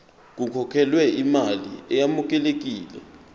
kukhokhelwe imali eyamukelekile